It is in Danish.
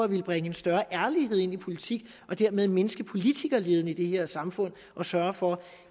vil bringe en større ærlighed ind i politik og dermed mindske politikerleden i det her samfund og sørge for